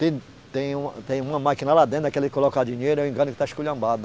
Tem, tem uma, tem uma máquina lá dentro, daquela de colocar dinheiro, eu que está esculhambada.